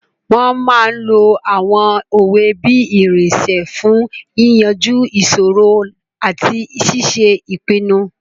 Wọ́n máa n lo àwọn òwe bí irinṣẹ́ fún yíyanjú ìṣòro àti ṣíṣe ìpinnu